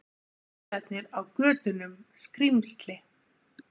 Bílarnir á götunum skrímsli.